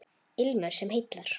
Ilmur sem heillar